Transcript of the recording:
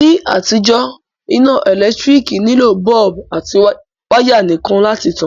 Ní àtijó, iná ẹ́lẹ̀ntirikì nilò bulb àti wire nìkan láti tan